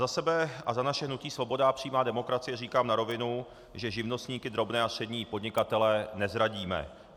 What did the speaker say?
Za sebe a za naše hnutí Svoboda a přímá demokracie říkám na rovinu, že živnostníky, drobné a střední podnikatele nezradíme.